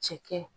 Cɛkɛ